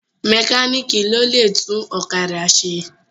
Mẹkáníìkì ló lè tún ọ̀kádà ṣe.